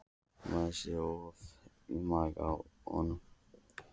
Maður sér ofan í maga á honum